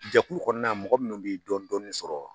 Jɛkulu kɔnɔna mɔgɔ munnu ye dɔɔni dɔɔni sɔrɔ.